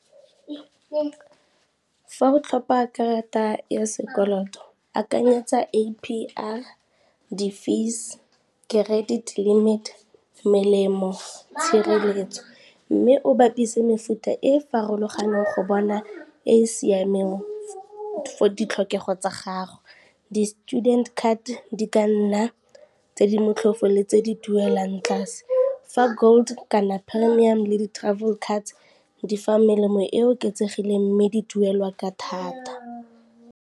Fa o tlhopa karata ya sekoloto akanyetsa A_P_R, di-fees, credit limit, melemo, tshireletso, mme o bapise mefuta e farologaneng go bona e e siameng for ditlhokego tsa gago. Di-student card di ka nna tse di motlhofo le tse di duelang tlase, fa gold kana premium le di-travel cards di fa melemo e oketsegileng mme di duelwa ka thata.